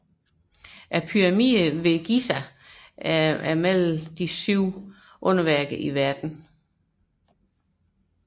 Pyramidene ved Giza er blandt Verdens syv underværker